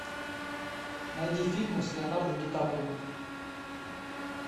найди фильмы с леонардо ди каприо